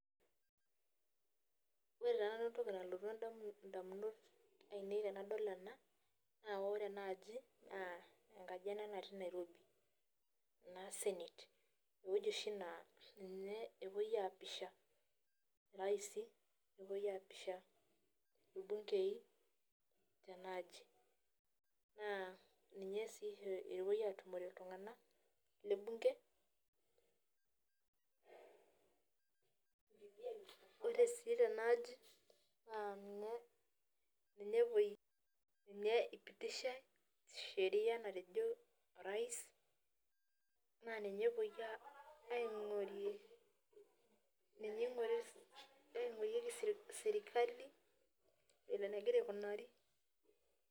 Ore taa nanu entoki nalotu endamun indamunot ainei tenadol ena naa ore naaji naa enkaji ena natii nairobi naa senate ewueji oshi naa ninye epuoi apisha iraisi nepuoi apisha irbungei tenaaji naa ninye sii oshi epuoi atumore iltung'anak le bunge ore sii tenaaji naa ninye ninye epuoi ninye ipitishae sheria natejo orais naa ninye epuoi aeaing'orie ninye eing'ori aing'orieki sirkali vile enegira aikunari.